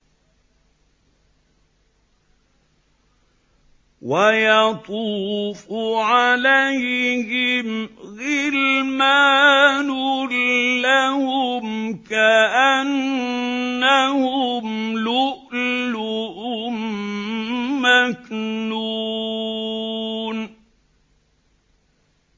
۞ وَيَطُوفُ عَلَيْهِمْ غِلْمَانٌ لَّهُمْ كَأَنَّهُمْ لُؤْلُؤٌ مَّكْنُونٌ